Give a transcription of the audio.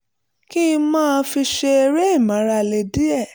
kí n lè máa fi ṣe eré ìmárale díẹ̀